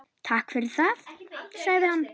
Takk fyrir það- sagði hann.